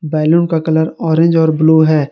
Balloon का colour orange और blue है।